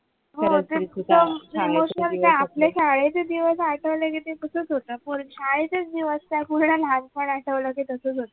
हो ते एकदम emotional काय आपल्या शाळेचे दिवस आठवले कि ते तसच होत शाळेचेच दिवस काय पूर्ण लहानपण आठवलं कि ते तसाच होत